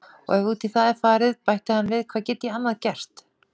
Og ef út í það er farið bætti hann við, hvað get ég annað gert?